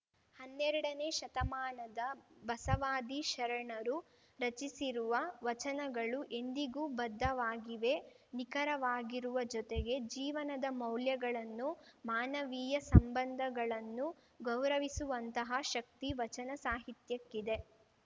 ಹನ್ನೆರಡನೇ ಶತಮಾನದ ಬಸವಾದಿ ಶರಣರು ರಚಿಸಿರುವ ವಚನಗಳು ಎಂದಿಗೂ ಬದ್ಧವಾಗಿವೆ ನಿಖರವಾಗಿರುವ ಜೊತೆಗೆ ಜೀವನದ ಮೌಲ್ಯಗಳನ್ನು ಮಾನವೀಯ ಸಂಬಂಧಗಳನ್ನು ಗೌರವಿಸುವಂತಹ ಶಕ್ತಿ ವಚನ ಸಾಹಿತ್ಯಕ್ಕಿದೆ